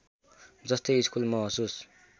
जस्तै स्कूल महसुस